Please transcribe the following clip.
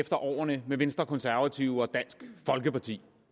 efter årene med venstre konservative og dansk folkeparti